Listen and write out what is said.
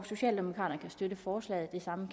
socialdemokraterne kan støtte forslaget det samme